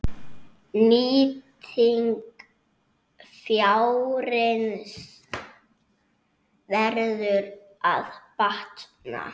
Nýting fjárins verður að batna.